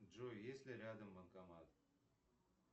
джой есть ли рядом банкомат